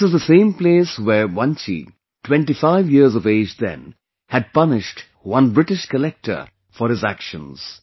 This is the same place where Vanchi, 25 years of age then, had punished one British collector for his actions